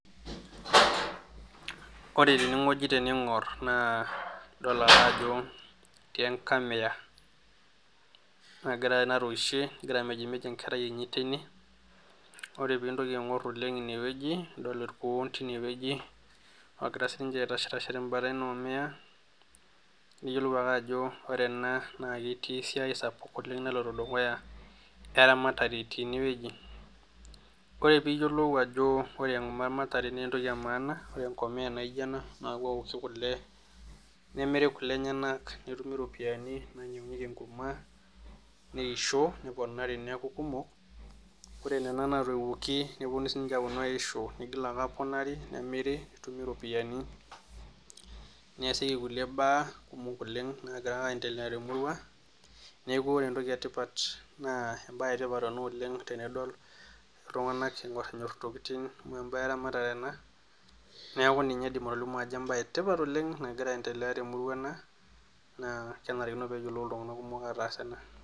Ore tenewueji tening'or naa idol ake ajo etiii enkamiya nagira natooshie egira amejimej enkerai enye teine ore peeintoki aing'or oleng' ine wueji oogira siininche aitashe tenkalo ina omiya niyiolou ale ajo ore ena naa ketii esiai sapuk oleng naloito dukuya eramatare teine weuji ore peeyiolou ajo ore eramatare naa entoki edukuya amu ore enkomiya naaijio ena naa keeoki oshi kule nemiri kule enyanak nimiru iropiyiani nainyiang'unyieki enkurma neishio neponari neeku kumok ore nena naatoiuoki neponu siininche aaponu aishio nigil aaponari nemiri netumi iropiyiani neesieki kulie baa oleng naagira ake aaendelea temurua neeku ore entoki etipat naa embaye Etipat ena oleng naitodol iltung'anak intokitin tenebo weramatare neeku ninye Idim atolimu ajo embaye etipat oleng nagira aendelea temurua ena naa kenarikino peeyiolou iltung'anak kumok ataas ena.